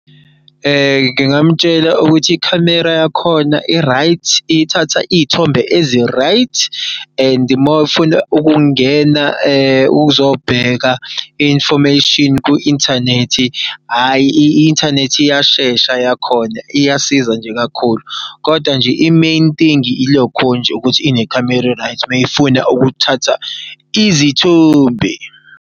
Ngingamutshela ukuthi ikhamera yakhona i-right, ithatha iy'thombe ezi-right and mawufuna ukungena ukuzobheka i-information ku-inthanethi, hhayi i-inthanethi iyashesha yakhona iyasiza nje kakhulu. Koda nje i-main thing ilokho nje ukuthi inekhamera e-right mayefuna ukuthatha izithombe.